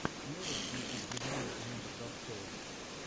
можешь включить три дня лейтенанта кравцова